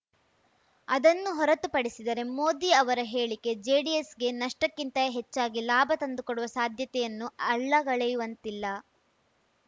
ಅದನ್ನು ಹೊರತುಪಡಿಸಿದರೆ ಮೋದಿ ಅವರ ಹೇಳಿಕೆ ಜೆಡಿಎಸ್‌ಗೆ ನಷ್ಟಕ್ಕಿಂತ ಹೆಚ್ಚಾಗಿ ಲಾಭ ತಂದು ಕೊಡುವ ಸಾಧ್ಯತೆಯನ್ನೂ ಅಲ್ಲಗಳೆಯುವಂತಿಲ್ಲ